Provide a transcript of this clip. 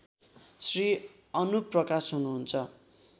श्री अनुप प्रकाश हुनुहुन्छ